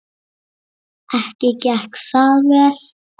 Ekki gekk það vel.